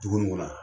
Dugu in kɔnɔ yan